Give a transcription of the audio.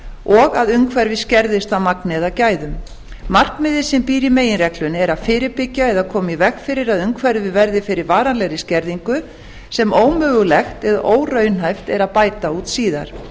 og að umhverfi skerðist að magni eða gæðum markmiðið sem býr í meginreglunni er að fyrirbyggja eða koma í veg fyrir að umhverfið verði fyrir varanlegri skerðingu sem ómögulegt eða óraunhæft er að bæta úr síðar